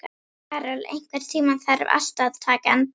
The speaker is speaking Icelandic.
Karol, einhvern tímann þarf allt að taka enda.